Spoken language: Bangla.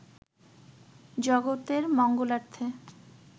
জগতের মঙ্গলার্থে